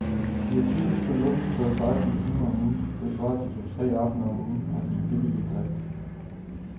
De har typisk kun åbent tolv seksten timer om ugen, det svarer til to tre aftener om ugen, og de er billige i drift.